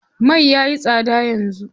Mai yayi tsada yanzu.